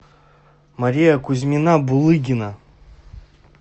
мария кузьмина булыгина